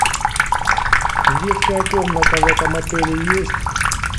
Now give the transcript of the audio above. детская комната в этом отеле есть